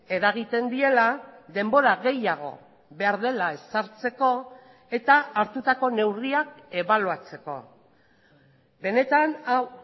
eragiten diela denbora gehiago behar dela ezartzeko eta hartutako neurriak ebaluatzeko benetan hau